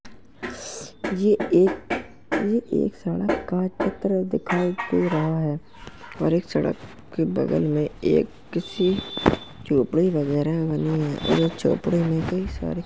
ये एक ये एक सड़क का चित्र दिखाई दे रहा है और एक सड़क के बगल में एक किसी झोपड़ी वगैरह बनी है और इस झोपड़ी में कई सारी --